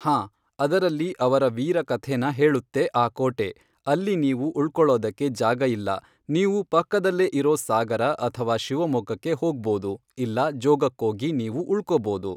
ಹಾಂ ಅದರಲ್ಲಿ ಅವರ ವೀರ ಕಥೇನ ಹೇಳುತ್ತೆ ಆ ಕೋಟೆ ಅಲ್ಲಿ ನೀವು ಉಳ್ಕೊಳ್ಳೋದಕ್ಕೆ ಜಾಗ ಇಲ್ಲ ನೀವು ಪಕ್ಕದಲ್ಲೇ ಇರೋ ಸಾಗರ ಅಥವಾ ಶಿವಮೊಗ್ಗಕ್ಕೆ ಹೋಗ್ಬೋದು ಇಲ್ಲ ಜೋಗಕ್ಕೋಗಿ ನೀವು ಉಳ್ಕೊಬೋದು.